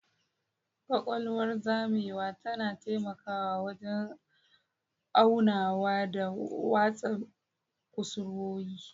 Ƙaƙwalwar zamewa tana taimakawa wajen aunawa da watsa kusurwoyi.